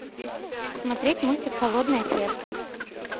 смотреть мультик холодное сердце